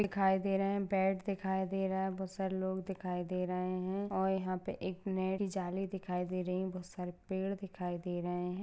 दिखाई दे रहे हैबैट दिखाई दे रहा है बहुत सारे लोग दिखाई दे रहे है और यहाँ पे एक नेट की जाली दिखाई दे रही है बहुत सारे पेड़ दिखाई दे रहे है।